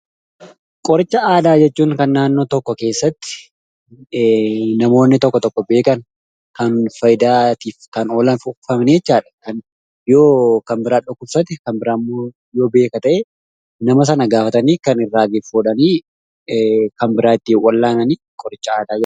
Qoricha aadaa jechuun kan naannoo tokko keessatti namoonni tokko tokko beekan kan faayidaatiif kan oolan fuugfamanii jechaadha. Yoo kanbiraan dhukkubsate kan biraammoo yoo beeka ta'e nama sana gaafatanii kan irraa fuudhanii kan biraa ittii wal'aananii qoricha aadaa jedhama